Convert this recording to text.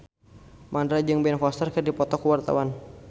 Mandra jeung Ben Foster keur dipoto ku wartawan